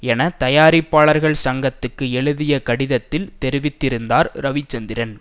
என தயாரிப்பாளர்கள் சங்கத்துக்கு எழுதிய கடிதத்தில் தெரிவித்திருந்தார் ரவிச்சந்திரன்